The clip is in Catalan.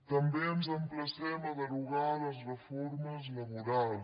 també ens emplacem a derogar les reformes laborals